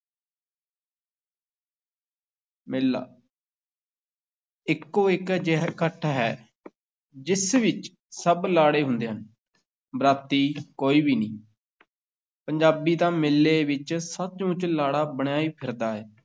ਮੇਲਾ ਇੱਕੋ-ਇੱਕ ਅਜਿਹਾ ਇਕੱਠ ਹੈ ਜਿਸ ਵਿੱਚ ਸਭ ਲਾੜੇ ਹੁੰਦੇ ਹਨ, ਬਰਾਤੀ ਕੋਈ ਵੀ ਨਹੀਂ ਪੰਜਾਬੀ ਤਾਂ ਮੇਲੇ ਵਿੱਚ ਸੱਚ-ਮੁੱਚ ਲਾੜਾ ਬਣਿਆ ਹੀ ਫਿਰਦਾ ਹੈ।